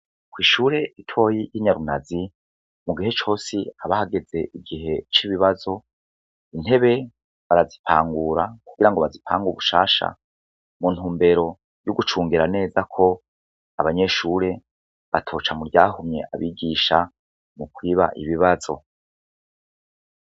Kw'ishule ritoyi ry'i Nyarunazi, mugihe cose haba hageze igihe c' ibibazo, intebe, barazipangura, kugira ngo bazipange gushasha, mu ntumbero yo gucungera neza ko abanyeshure batoca mu ryahumye abigisha, mu kwiba ibibazo.